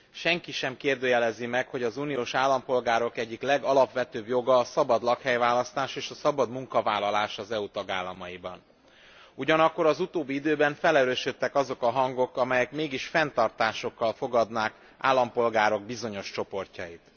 Senki sem kérdőjelezi meg, hogy az uniós állampolgárok egyik legalapvetőbb joga a szabad lakhelyválasztás és a szabad munkavállalás az EU tagállamaiban, ugyanakkor az utóbbi időben felerősödtek azok a hangok, amelyek mégis fenntartásokkal fogadnák állampolgárok bizonyos csoportjait.